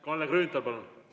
Kalle Grünthal, palun!